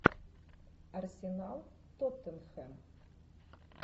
арсенал тоттенхэм